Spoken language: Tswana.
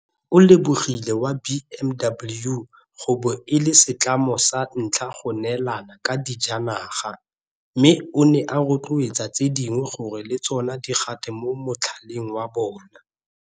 O lebogile ba BMW go bo e le setlamo sa ntlha go neelana ka dijanaga, mme o ne a rotloetsa tse dingwe gore le tsona di gate mo motlhaleng wa bona.